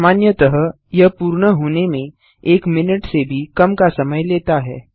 सामान्यतः यह पूर्ण होने में एक मिनट से भी कम का समय लेता है